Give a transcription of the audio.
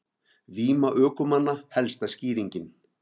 Víma ökumanna helsta skýringin